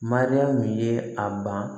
Mariyamu ye a ban